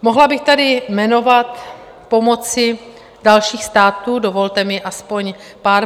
Mohla bych tady jmenovat pomoci dalších států, dovolte mi aspoň pár.